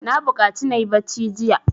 Na buƙaci na yi bacci jiya.